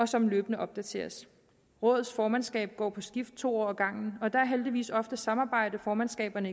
som løbende opdateres rådets formandskab går på skift to år ad gangen og der er heldigvis ofte samarbejde formandskaberne